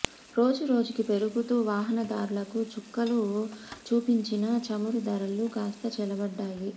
రోజు రోజుకు పెరుగుతూ వాహనదారులకు చుక్కలు చూపించిన చమురు ధరలు కాస్త చల్లబడ్డాయి